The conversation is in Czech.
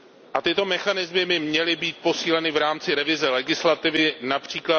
A tyto mechanismy by měly být posíleny v rámci revize legislativy, např.